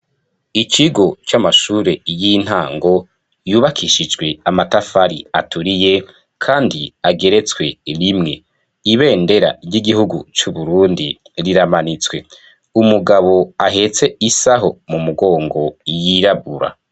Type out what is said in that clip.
Ikigo c'amashure y'intango y'ubakishijwe amatafari aturiye kandi ageretswe rimwe, ibendera ry'igihugu c'Uburundi riramanitswe umugabo ahetse isaho mu mugongo y'irabura.